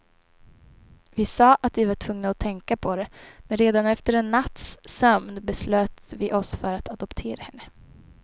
Vi sa att vi var tvungna att tänka på det, men redan efter en natts sömn beslöt vi oss för att adoptera henne.